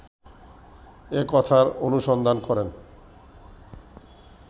এ কথার অনুসন্ধান করেন